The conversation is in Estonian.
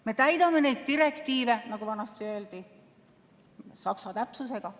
Me täidame neid direktiive, nagu vanasti öeldi, saksa täpsusega.